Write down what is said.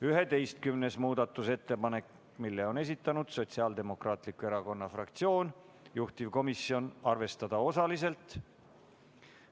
11. muudatusettepaneku on esitanud Sotsiaaldemokraatliku Erakonna fraktsioon, juhtivkomisjoni seisukoht on arvestada seda osaliselt.